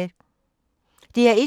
DR1